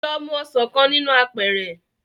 Lọ mu ọsàn kan nínú apẹ̀ẹ̀rẹ̀